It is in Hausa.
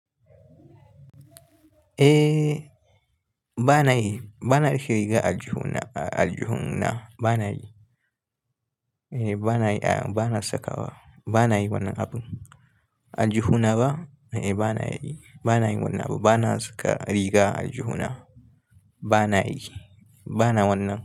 Eh, ba na yi, ba na rike riga a aljihuna, a aljihuna ba na yi. Eh, ba na yi, a'a ba na sakawa, ba na yi wannan abun. A aljihuna ba? Eh, ba na yi, ba na yi wannan abu, ba na saka riga a aljihuna. Ba na yi, ba na wannan abu.